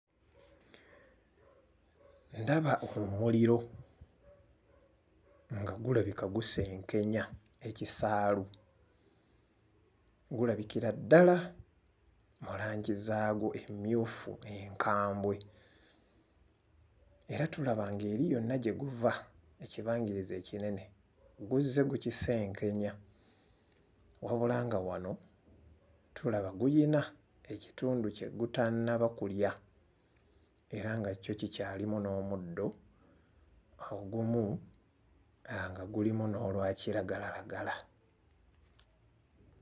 Ndaba omuliro nga gulabika gusenkenya ekisaalu. Gulabikira ddala mu langi zaagwo emmyufu enkambwe. Era tulaba ng'eri yonna gye guva ekibangirizi ekinene guzze gukisenkenya. Wabula nga wano tulaba gulina ekitundu kye gutannaba kulya era nga kyo kikyalimu n'omuddo ogumu nga gulimu n'olwa kiragalalagala.